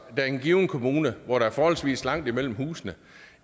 der er en given kommune hvor der er forholdsvis langt mellem husene